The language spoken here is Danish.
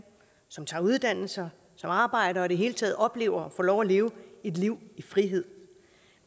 som tager uddannelser som arbejder og det hele taget oplever at få lov at leve et liv i frihed